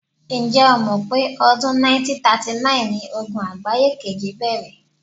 Ǹ̀jẹ́ o mọ̀ pé ọdún 1939ni Ogun àgbáye kejì bẹ̀rẹ̀?